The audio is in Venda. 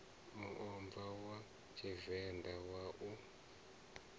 muomva wa tshivenḓa wa u